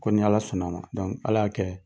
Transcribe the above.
Ko ni Ala sɔn n'a ma Ala y'a kɛ